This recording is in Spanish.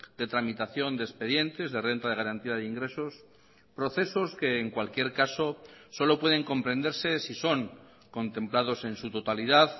de tramitación de expedientes de renta de garantía de ingresos procesos que en cualquier caso solo pueden comprenderse si son contemplados en su totalidad